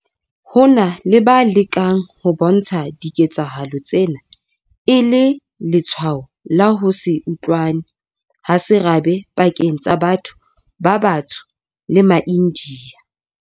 Ho na le ba lekang ho bontsha diketsahalo tsena e le letshwao la ho se utlwane ha serabe pakeng tsa batho ba batsho le maIndiya.